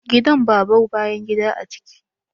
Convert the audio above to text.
Gidan babau bayan gida a ciki.